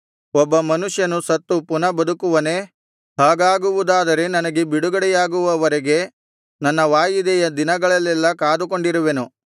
ಒಬ್ಬ ಮನುಷ್ಯನು ಸತ್ತು ಪುನಃ ಬದುಕುವನೇ ಹಾಗಾಗುವುದಾದರೆ ನನಗೆ ಬಿಡುಗಡೆಯಾಗುವವರೆಗೆ ನನ್ನ ವಾಯಿದೆಯ ದಿನಗಳಲ್ಲೆಲ್ಲಾ ಕಾದುಕೊಂಡಿರುವೆನು